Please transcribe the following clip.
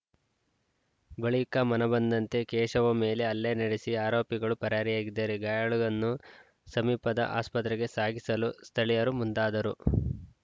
ಬಳಿಕ ಮನಬಂದಂತೆ ಕೇಶವ ಮೇಲೆ ಹಲ್ಲೆ ನಡೆಸಿ ಆರೋಪಿಗಳು ಪರಾರಿಯಾಗಿದ್ದಾರೆ ಗಾಯಾಳುನನ್ನು ಸಮೀಪದ ಆಸ್ಪತ್ರೆಗೆ ಸಾಗಿಸಲು ಸ್ಥಳೀಯರು ಮುಂದಾದರು